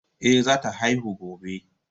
Ehh, zata haihu gobe.